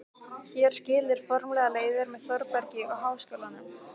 Hér skilur formlega leiðir með Þórbergi og Háskólanum.